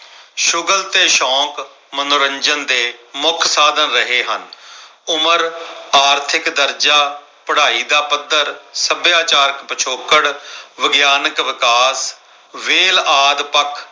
ਸ਼ੁਗਲ ਤੇ ਸ਼ੌਕ ਮਨੋਰੰਜਨ ਦੇ ਮੁੱਖ ਸਾਧਨ ਰਹੇ ਹਨ। ਉਮਰ ਆਰਥਿਕ ਦਰਜਾ, ਪੜਾਈ ਦਾ ਪੱਧਰ, ਸੱਭਿਆਚਾਰ ਪਿਛੋਕੜ, ਵਿਗਿਆਨਕ ਵਿਕਾਸ ਵੇਲ ਆਦਿ ਪੱਖ